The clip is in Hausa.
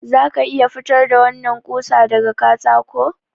Za ka iya fitar da wannan ƙusa daga katako?